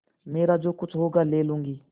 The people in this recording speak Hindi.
मेरा जो कुछ होगा ले लूँगी